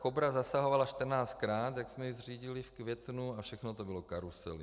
Kobra zasahovala 14krát, jak jsme ji zřídili v květnu, a všechno to byly karusely.